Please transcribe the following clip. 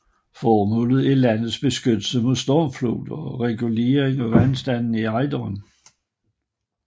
Formålet er landets beskyttelse mod stormfloder og regulering af vandstanden i Ejderen